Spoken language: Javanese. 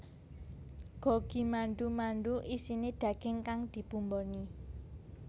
Gogi mandu mandu isine daging kang dibumboni